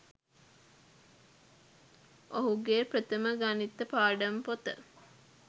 ඔහුගේ ප්‍රථම ගණිත පාඩම් පොත